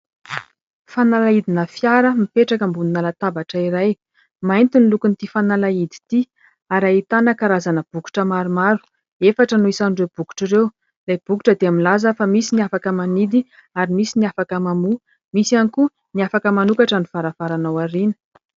Fanalahidina fiara mipetraka ambonina latabatra iray. Mainty ny lokon'ity fanalahidy ity ary ahitana karazana bokotra maromaro, efatra no isan'ireo bokotra ireo ; ilay bokotra dia milaza fa misy ny afaka manidy ary misy ny afaka mamoa, misy ihany koa ny afaka manokatra ny varavarana ao aoriana.